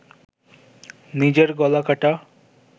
নিজের গলা কাটা